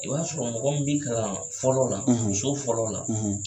I b'a sɔrɔ mɔgɔ min bi' kalan fɔlɔ la so fɔlɔ la